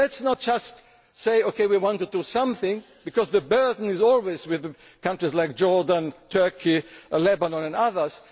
for example. Let us not just say OK, we want to do something', because the burden always lies with countries like Jordan, Turkey, Lebanon